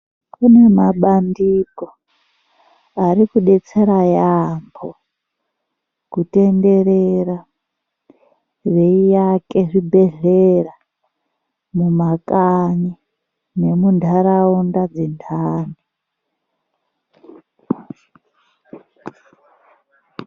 Kune mabandiko arikudetsera yaamho kutenderera veiake zvibhehlera mumakanyi nemunharaunda dzinhani.